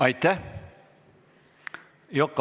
Aitäh!